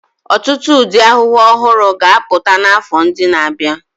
Ọtụtụ ụdị ahụhụ ọhụrụ ga-apụta n'afọ ndị na-abịa.